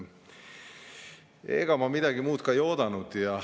Ega ma midagi muud ei oodanudki.